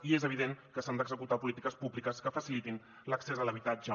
i és evident que s’han d’executar polítiques públiques que facilitin l’accés a l’habitatge